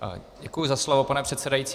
Děkuji za slovo, pane předsedající.